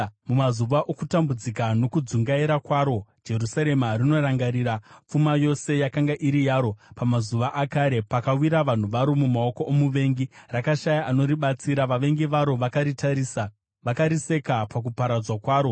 Mumazuva okutambudzika nokudzungaira kwaro, Jerusarema rinorangarira pfuma yose yakanga iri yaro pamazuva akare. Pakawira vanhu varo mumaoko omuvengi, rakashaya anoribatsira. Vavengi varo vakaritarisa, vakariseka pakuparadzwa kwaro.